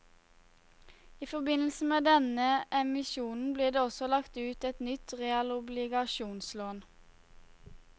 I forbindelse med denne emisjonen blir det også lagt ut et nytt realobligasjonslån.